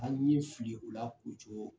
An ye file kula k'u cogo